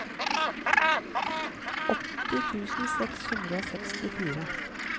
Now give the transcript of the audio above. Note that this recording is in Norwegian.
åtti tusen seks hundre og sekstifire